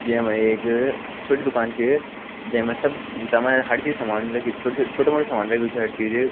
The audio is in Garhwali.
जैमा एक छोटी दूकान च जैमा सब तमा य हर चीज समा छोट छोटू छोट मोटा सामान लग्युं छ हर चीज ।